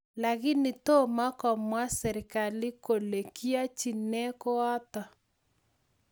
Lakini toma komwaa serikali kole kiachin nee koato